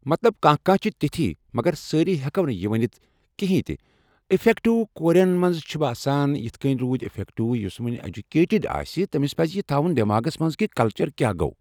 مطلب کانٛہہ کانٛہہ چھِ تِتھۍ مگر سٲرۍ ہٮ۪کونہٕ یہِ ؤنِتھ کِہیٖنۍ تہِ اٮ۪فٮ۪کٹ کورین چھِ باسان یِتھ پٲٹھۍ روٗد اِفٮ۪کٹ یُس وۄنۍ ایجوٗکیٹٕڈ آسہِ تٔمِس پَزِ یہِ تھاوُن دٮ۪ماغَس منٛز کہِ کَلچَر کیٛاہ گوٚو